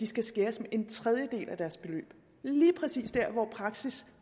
skal skæres med en tredjedel og det er lige præcis dér hvor praksis